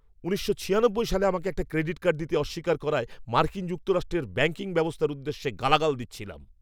উনিশশো ছিয়ানব্বই সালে আমাকে একটা ক্রেডিট কার্ড দিতে অস্বীকার করায় মার্কিন যুক্তরাষ্ট্রের ব্যাঙ্কিং ব্যবস্থার উদ্দেশ্যে গালাগাল দিচ্ছিলাম।